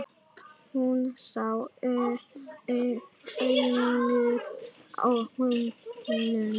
Hún sá aumur á honum.